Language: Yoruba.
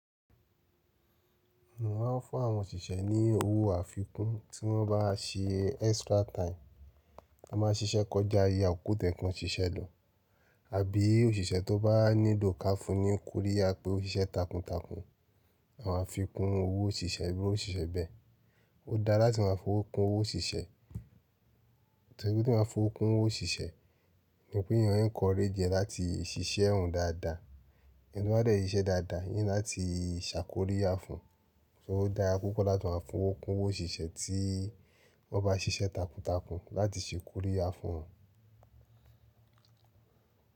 Mo ma n fún àwọn òṣìṣẹ́ ní owó àfikún tí wọ́n bá ṣe extra time a ma ṣiṣẹ́ kọjá ìyè akoko toye kan ṣiṣẹ́ lọ àbí òṣìṣẹ́ tó bá nílò ká fún ní kóriya pé ó ṣiṣẹ́ takuntakun ma fi kún owó òṣìṣẹ́ íru ósise bẹ́ẹ̀. Ó dáa latí máa fowo kún owó òṣìṣẹ́, npe teeyan baa fowó kún owó òṣìṣẹ́ ni pé èèyàn encourage e láti ṣiṣẹ́ òun dáadáa, ènì to báá dẹ́ siṣe dáadáa, eyan ni láti ṣàkóríyá fun, so ó dára púpọ̀ láti máa fowó kun owo òṣìṣẹ́ tí wọ́n bá ṣiṣẹ́ takuntakun láti ṣe kóríyá fún wọn.